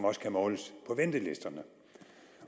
også kan måles på ventelisterne